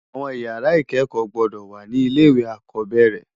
Awòn ìyàrá ikèékò gbòdò wá ni ilé iwé ákòbèrè